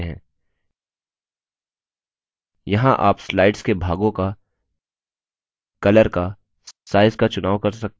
यहाँ आप slide के भागों का colours का size का चुनाव कर सकते हैं जिन्हें print करना चाहते हैं